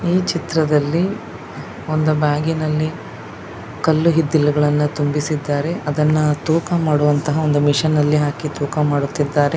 ಈ ಚಿತ್ರದಲ್ಲಿ ಒಂದು ಬ್ಯಾಗ್ ಇನಲ್ಲಿ ಕಲ್ಲು ಇದ್ದಿಲುಗಳನ್ನ ತುಂಬಿಸಿದ್ದಾರೆ. ಅದ್ದನ್ನ ತೂಕ ಮಾಡುವಂತ ಮಷೀನ್ ಅಲ್ಲಿ ಹಾಕಿ ತೂಕ ಮಾಡುತ್ತಿದ್ದಾರೆ.